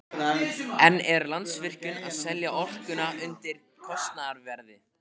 En er Landsvirkjun að selja orkuna undir kostnaðarverði?